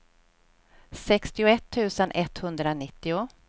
sextioett tusen etthundranittio